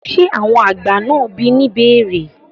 ṣé àwọn àgbà náà bí ní ìbéèrè?